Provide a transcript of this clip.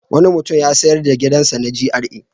Wani mutum ya sayar da gidansa na GRA.